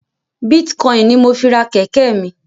Bitcoin ní mọ fí rà kéké mí